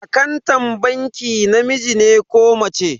Akantan bankin namiji ne ko mace?